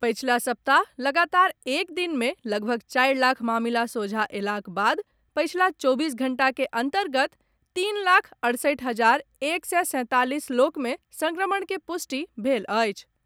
पछिला सप्ताह लगातार एक दिन मे लगभग चारि लाख मामिला सोझा अयलाक बाद पछिला चौबीस घंटा के अन्तर्गत तीन लाख अड़सठि हजार एक सय सैंतालीस लोक मे संक्रमण के पुष्टि भेल अछि।